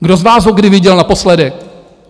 Kdo z vás ho kdy viděl naposledy?